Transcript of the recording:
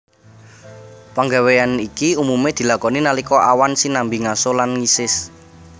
Panggawéyan iki umumé dilakoni nalika awan sinambi ngaso lan ngisis